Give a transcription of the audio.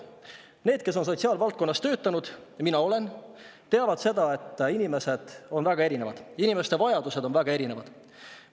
Need, kes on sotsiaalvaldkonnas töötanud – ja mina olen –, teavad seda, et inimesed on väga erinevad ja inimeste vajadused on väga erinevad.